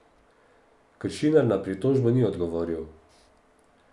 Kršinar na pritožbo ni odgovoril.